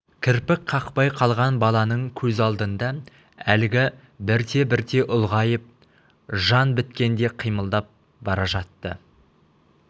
кірпік қақпай қалған баланың көз алдында әлгі бірте-бірте ұлғайып жан біткендей қимылдап бара жатты